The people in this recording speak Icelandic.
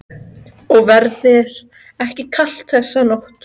Og verður ekki kalt þessa nótt.